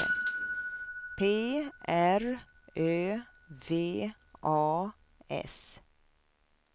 P R Ö V A S